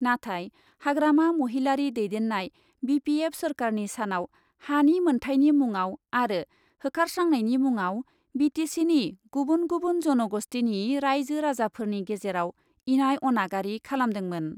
नाथाय हाग्रामा महिलारी दैदेन्नाय B P F सोरखारनि सानाव हानि मोन्थायनि मुङाव आरो होखारस्रांनायनि मुङाव बि टि सिनि गुबुन गुबुन जन'ग'ष्टिनि राइजो राजाफोरनि गेजेराव इनाय अनागारि खालामदोंमोन।